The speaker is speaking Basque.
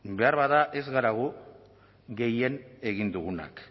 ba beharbada ez gara gu gehien egin dugunak